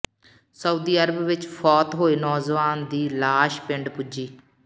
Saudi Arab ਵਿੱਚ ਫੌਤ ਹੋਏ ਨੌਜਵਾਨ ਦੀ ਲਾਸ਼ ਪਿੰਡ ਪੁੱਜੀ